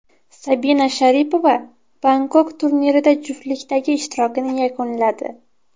Sabina Sharipova Bangkok turnirida juftlikdagi ishtirokini yakunladi.